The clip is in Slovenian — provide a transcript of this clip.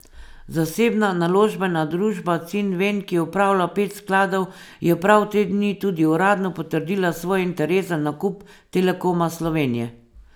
Zasebna naložbena družba Cinven, ki upravlja pet skladov, je prav te dni tudi uradno potrdila svoj interes za nakup Telekoma Slovenije.